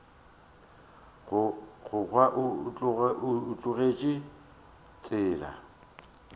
go kwa o tlogetše tsela